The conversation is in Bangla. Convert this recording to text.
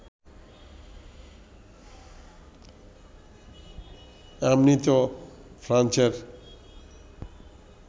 এমনিতেও ফ্রান্সের